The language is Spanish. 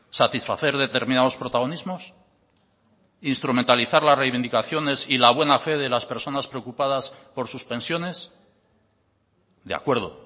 satisfacer determinados protagonismos instrumentalizar las reivindicaciones y la buena fe de las personas preocupadas por sus pensiones de acuerdo